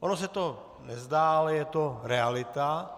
Ono se to nezdá, ale je to realita.